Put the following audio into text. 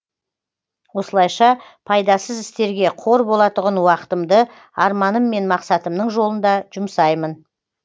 осылайша пайдасыз істерге қор болатұғын уақытымды арманым мен мақсатымның жолында жұмсаймын